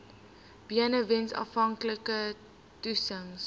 benewens aanvanklike toetsings